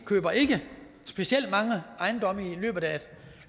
køber ikke specielt mange ejendomme i løbet